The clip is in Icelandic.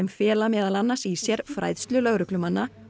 fela meðal annars í sér fræðslu lögreglumanna